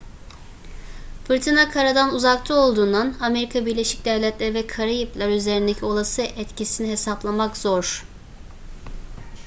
fırtına karadan uzakta olduğundan amerika birleşik devletleri ve karayipler üzerindeki olası etkisini hesaplamak zor